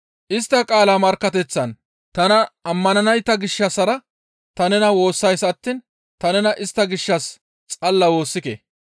«Istta qaala markkateththan tana ammananayta gishshassara ta nena woossays attiin ta nena istta gishshas xalla woossike.